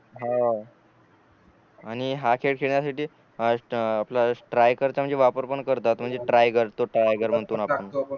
आणि हा खेळ खेळण्या साठी आपल टायगर चा म्हणजे वापर पण करतात म्हणजे टायगर तो टायगर म्हणतो न आपण